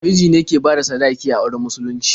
Miji ne ke bada sadaki a auren musulunci.